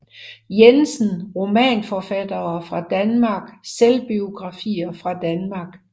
Jensen Romanforfattere fra Danmark Selvbiografer fra Danmark